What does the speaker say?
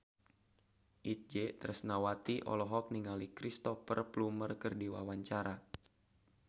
Itje Tresnawati olohok ningali Cristhoper Plumer keur diwawancara